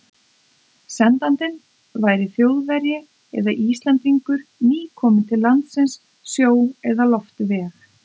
Sendandinn væri Þjóðverji eða Íslendingur, nýkominn til landsins sjó- eða loftveg.